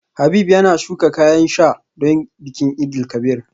Habib yana shuka kayan sa don bikin Eid El Kabir